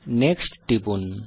next টিপুন